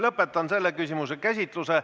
Lõpetan selle küsimuse käsitluse.